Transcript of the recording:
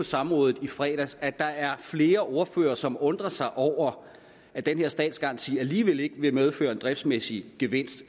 samrådet i fredags at der er flere ordførere som undrer sig over at den her statsgaranti alligevel ikke vil medføre en driftsmæssig gevinst